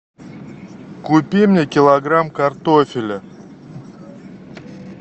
купи мне килограмм картофеля